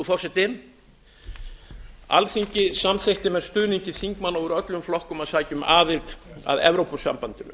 forseti alþingi samþykkti með stuðningi þingmanna úr öllum flokkum að sækja um aðild að evrópusambandinu